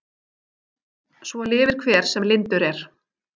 Svo lifir hver sem lyndur er.